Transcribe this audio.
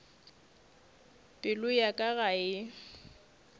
pelo ya ka ga e